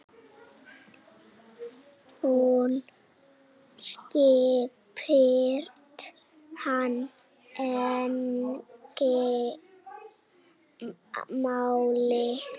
Hún skipti hann engu máli.